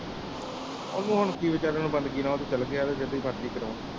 ਉਹਨੂੰ ਹੁਣ ਕਿ ਵਿਚਾਰੀ ਨੂੰ ਬੰਦਗੀ ਨਾਲ ਉਹ ਤੇ ਚਲ ਗਿਆ ਤੇ ਮਰਜੀ ਕਰਾਉਣ